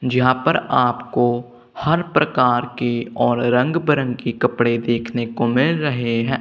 जहां पर आपको हर प्रकार के और रंग बिरंग के कपड़े देखने को मिल रहे हैं।